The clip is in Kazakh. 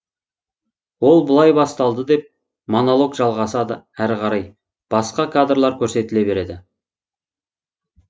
ол былай басталды деп монолог жалғасады әрі қарай басқа кадрлар көрсетіле береді